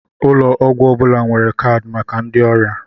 Ụlọ ọgwụ ọ bụla nwere kaadị maka ndị oria